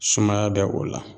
Sumaya bɛ o la